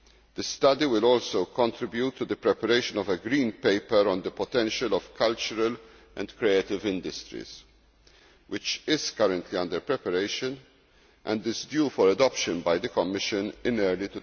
The study will also contribute to the preparation of a green paper on the potential of cultural and creative industries, which is currently under preparation and is due for adoption by the Commission in early